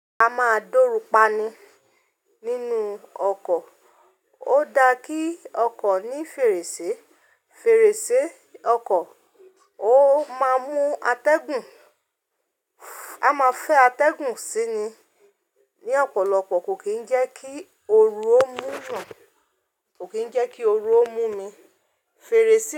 A máa dórú pa'ni nínú ọkọ̀. Ó da kí ọkọ̀ ní fèrèsé. Fèrèsé ọkọ̀ ó máa mú atẹ́gùn. A máa fẹ́ atẹ́gùn síni. Ni ọ̀pọ̀lọpọ̀ kò kí ń jẹ́ kí oru ó mú yan. Kò kí ń jẹ́ kí oru ó mú mi. Fèrèsé.